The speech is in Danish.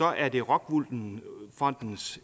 er det rockwool fondens